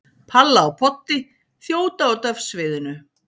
Palla og Poddi þjóta út af sviðinu.